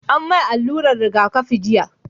an mai alluran rigakafi jiya